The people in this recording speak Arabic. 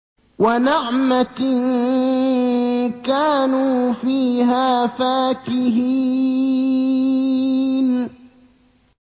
وَنَعْمَةٍ كَانُوا فِيهَا فَاكِهِينَ